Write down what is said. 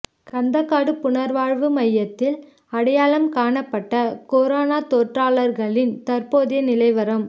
கந்தக்காடு புனர்வாழ்வு மையத்தில் அடையாளம் காணப்பட்ட கொரோனா தொற்றாளர்களின் தற்போதைய நிலைவரம்